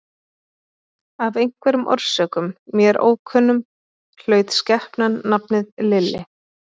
Af einhverjum orsökum, mér ókunnum, hlaut skepnan nafnið Lilli.